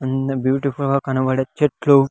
అంద బ్యూటీఫుల్ గా కనబడే చెట్లు.